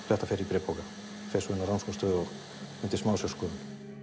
þetta fer í bréfpoka fer svo inn á rannsóknarstofu og undir smásjárskoðun